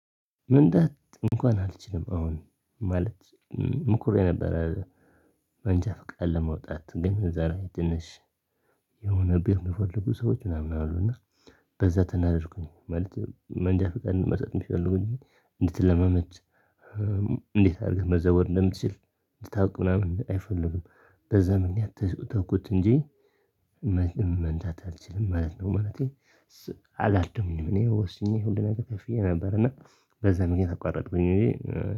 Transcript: መንዳት እንኳን አልችልም አሁን ማለት ሞክሬ ነበረ መንጃ ፍቃድ ለመውጣት ግን እዛላይ ትንሽ የሆነ ብር የሚፈልጉ ሰዎች ምናምን አሉና። በዛ ተናደድኩኝ ማለት መንጃ ፍቃድ መስጠት የሚፈልጉት እንድትለማመድ እንዴት አድርገህ መዘወር እንደምትችል እንድታውቅ ምናምን አይፈልጉም በዛ ምክኒያት ተውኩት እንጂ። መንዳት አልችልም ማለት ነው። ማለቴ አልለመድኩኝም እኔ ወስኜ ሁሉን ነገር ከፍዬ ነበርና በዛ ምክኒያት አቋረጥኩኝ እንጂ።